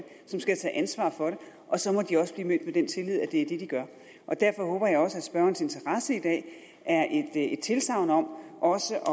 som skal tage ansvar for det og så må de også blive mødt med den tillid at det er det de gør derfor håber jeg også at spørgerens interesse i dag er et et tilsagn om også at